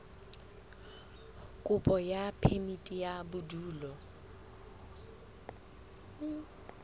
kopo ya phemiti ya bodulo